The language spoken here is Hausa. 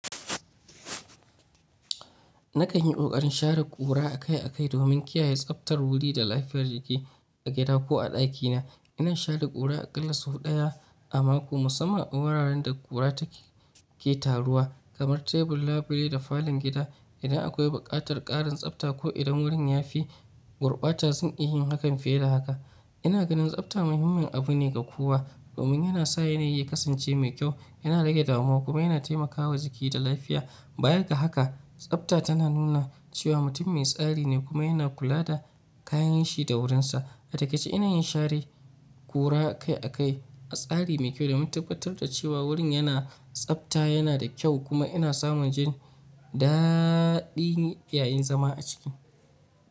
Na kan yi ƙoƙarin shara ƙura a kai a kai domin kiyaye tsabtar wuri da lafiyar jiki a gida ko a ɗakina. Inan shara ƙura akalla sau ɗaya a mako, musamman in wuraren da ƙura take taruwa, kamar tebur, labule, da falan gida. Idan akwai buƙatar ƙarin tsabta ko idan wurin ya fi gurɓata, zan iya yin hakan fiye da haka. Ina ganin tsabta muhimmin abu ne ga kowa domin yana sa yanayi ya kasance mai kyau, yana rage damuwa kuma yana taimakawa jiki da lafiya. Bayan ga haka, tsabta tana nuna cewa mutum mai tsari ne kuma yana kula da kayanshi da wurinsa. A takaice, ina yin share ƙura a kai a kai a tsari me kyau domin tabbatar da cewa wurin yana tsabta, yana da kyau kuma ina samun jin daaaɗi yayin zama a ciki.